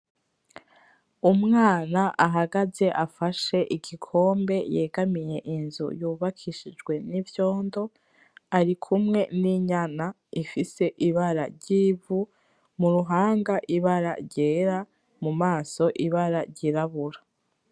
Umwana ahagaze afashe igikombe yegamiye inzu yubakishijwe n'ivyondo. Ari kumwe n'inyana ifise ibara ry'ivu, mu ruhanga ibara ryera, mumaso ibara ryirabura.